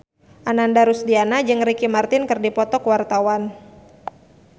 Ananda Rusdiana jeung Ricky Martin keur dipoto ku wartawan